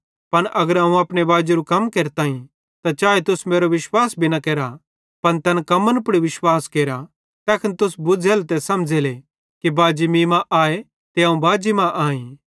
पन अगर अवं अपने बाजेरू कम केरताईं त चाए तुस मेरो विश्वास न भी केरा पन तैन कम्मन पुड़ विश्वास केरा तैखन तुस बुज़्झ़ेले ते समझ़ेले कि बाजी मीं मां आए ते अवं बाजी मां आईं